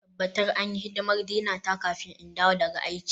Tabbatar an yi hidimar Dina ta kafin in dawo daga aiki.